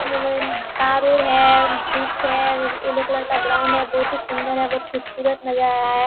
तार उर है वृक्ष है येलो कलर का ग्राउन्ड है बहुत ही सुंदर है बहुत खूबसूरत नजरा है।